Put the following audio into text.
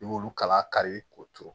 I b'olu kala kari k'o turu